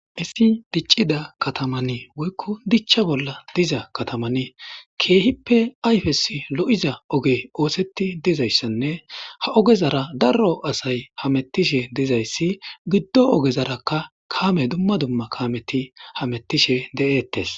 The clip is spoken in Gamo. isi diccida katamani woykko dicha bolla diza kataman keehippe ayfesi lo'iza oge ooseti dizayssanne ha ogezara darro asay hamettishe dizayssi giddo ogezarakka kaame dumma dumma kaameti hamettishe de'eettes